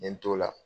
N ye n t'o la